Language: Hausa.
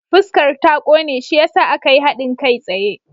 Fuskar ta ƙone shi ya sa aka yi haɗin kai tsaye.